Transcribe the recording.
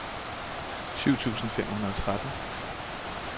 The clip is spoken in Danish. syv tusind fem hundrede og tretten